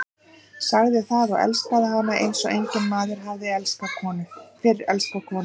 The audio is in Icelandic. Sagði það og elskaði hana eins og enginn maður hafði fyrr elskað konu.